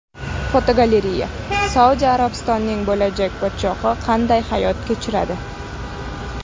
Fotogalereya: Saudiya Arabistonining bo‘lajak podshohi qanday hayot kechiradi?.